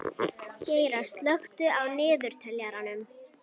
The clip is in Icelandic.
Geira, slökktu á niðurteljaranum.